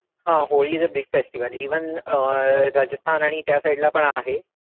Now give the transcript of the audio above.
हा holi is a big festival even Rajasthan आणि त्या ला side पण आहे